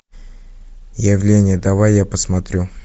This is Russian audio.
явление давай я посмотрю